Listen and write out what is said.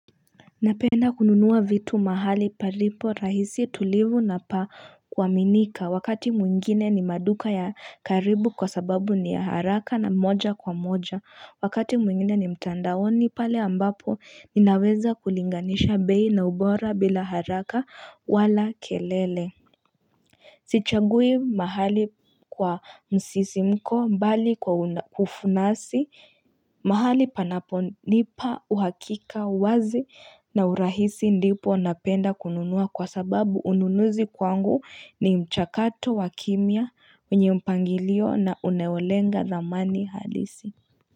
Napenda kununua vitu mahali palipo rahisi tulivu na pa kua minika wakati mwingine ni maduka ya karibu kwa sababu ni ya haraka na moja kwa moja wakati mwingine ni mtandaoni pale ambapo ninaweza kulinganisha bei na ubora bila haraka wala kelele Sichagui mahali kwa msisi mko mbali kwa ufunasi mahali panaponipa uhakika uwazi na urahisi ndipo napenda kununua kwa sababu ununuzi kwangu ni mchakato wa kimya wenye mpangilio na unaolenga thamani halisi.